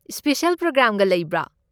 Special ꯄ꯭ꯔꯣꯒ꯭ꯔꯥꯝꯒ ꯂꯩꯕ꯭ꯔꯣ?